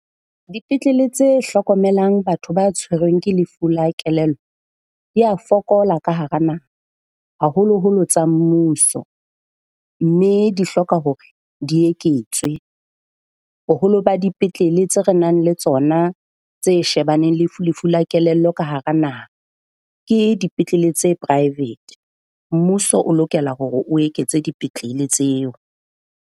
Dipetlele tse hlokomelang batho ba tshwerweng ke lefu la kelello di a fokola ka hara naha haholoholo tsa mmuso. Mme di hloka hore di eketswe. Boholo ba dipetlele tse re nang le tsona tse shebaneng le lefu la kelello ka hara naha ke dipetlele tse private. Mmuso o lokela hore o eketse dipetlele tseo.